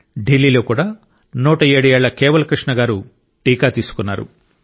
ఢిల్లీ లో కూడా 107 ఏళ్ల కేవల్ కృష్ణ గారు టీకా తీసుకున్నారు